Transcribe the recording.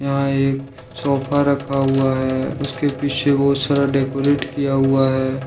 वहां एक सोफा रखा हुआ है उसके पीछे बहुत सारा डेकोरेट किया हुआ है।